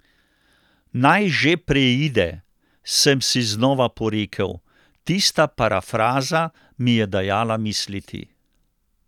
Naj že preide, sem si znova porekel, tista parafraza mi je dajala misliti.